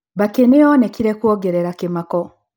Mbakĩ nĩyonekire kuongerera kĩmako